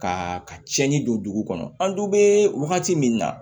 Ka ka cɛnni don dugu kɔnɔ an dun bɛ wagati min na